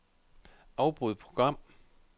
Afbryd program.